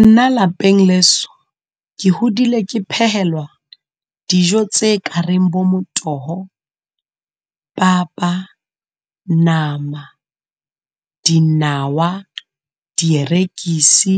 Nna lapeng leso, ke hodile ke phehelwa dijo tse ka reng bo motoho, papa, nama, dinawa, dierekisi,